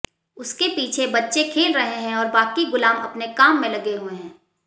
उसके पीछे बच्चे खेल रहे हैं और बाकी गुलाम अपने काम में लगे हुए हैं